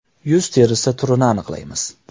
Yuz terisi turini aniqlaymiz .